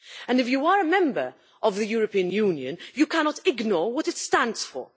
If you are a member of the European Union, you cannot ignore what it stands for.